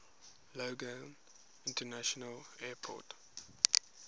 logan international airport